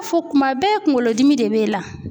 Fɔ kuma bɛɛ kunkolo dimi de b'e la.